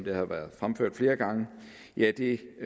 har været fremført flere gange giver det